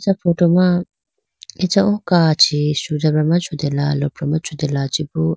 Acha photo ma acha o kachi sujabra ma chutela lopra ma chutela chibo.